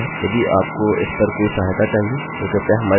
यदि आपको इस पर कोई सहायता चाहिए तो कृपया हमारे साथ बने रहिये